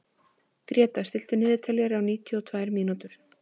Gréta, stilltu niðurteljara á níutíu og tvær mínútur.